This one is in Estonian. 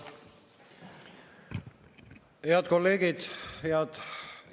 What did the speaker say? Head kolleegid!